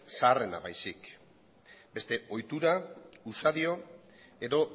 zaharrena baizik beste ohitura usadio edo